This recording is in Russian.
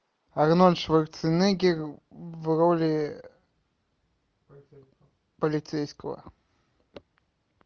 арнольд шварценеггер в роли полицейского